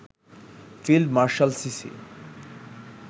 field marshal CC